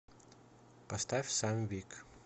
поставь сам вик